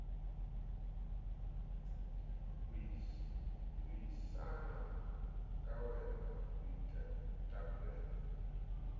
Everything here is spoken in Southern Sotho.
buisana ka wena moetapele wa